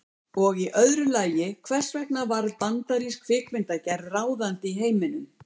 Og í öðru lagi, hvers vegna varð bandarísk kvikmyndagerð ráðandi í heiminum?